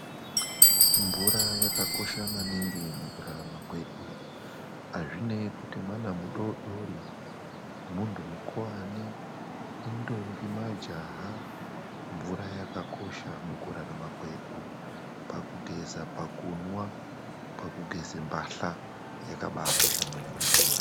Mvura yakakosha maningi mukurarama kwedu. Hazvinei kuti mwana mudodori, muntu mukuvani, indombi ,majaha, mvura yakakosha mukurarama kwedu pakugeze, pakunwa, pakugeze mbahla yakabakosha maningi mvura.